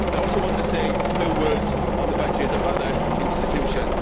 I also want to say a few words on the budgets of other institutions.